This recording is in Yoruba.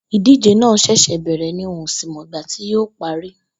Ìdíje náà s̩è̩s̩è̩ bè̩rè̩ ni n ò sì mo̩ ìgbà tí yóò parí